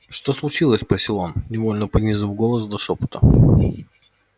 что случилось спросил он невольно понизив голос до шёпота